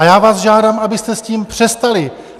A já vás žádám, abyste s tím přestali!